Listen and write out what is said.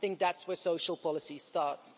I think that's where social policy starts.